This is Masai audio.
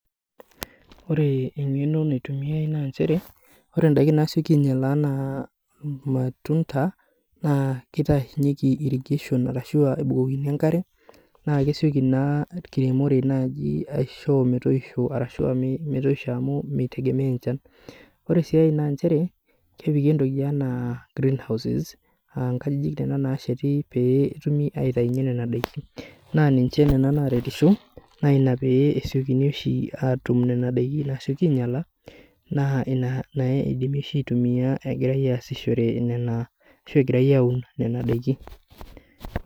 Ore engeno naitumiai na nchere ore ndakini naiseki ainyala ana irmatunda na nebukokini enkare na kesieki na enkiremore nai aisho metoisho arashu mitegemea encan ore si enkae na chere kepiki entoki aanaa greenhouses aa nkajijik kuna nasheti petumibaitaunye nona dakin na ninche nona naretisho naina pee esiokini ainyangu nona dakin nasieki ainyala na inabidimi aitumia ashu egirai aun nona dakin.